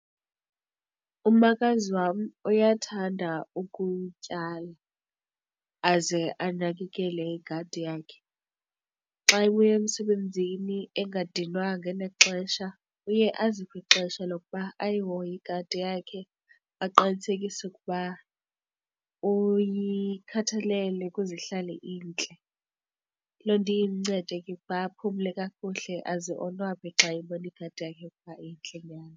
Umakazi wam uyathanda ukutyala aze anakekele igadi yakhe. Xa ebuya emsebenzini engadinwanga enexesha uye aziphe ixesha lokuba ayiyihoye igadi yakhe, aqinisekise ukuba uyikhathalele ukuze ihlale intle. Loo nto iye imncede ke ukuba aphumle kakuhle aze onwabe xa eyibona igadi yakhe ukuba intle nyhani.